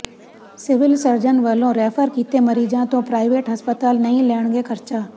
civil surgeon ਵੱਲੋਂ refer ਕੀਤੇ ਮਰੀਜ਼ਾਂ ਤੋਂ ਪ੍ਰਾਇਵੇਟ ਹਸਪਤਾਲ ਨਹੀਂ ਲੈਣਗੇ ਖਰਚਾ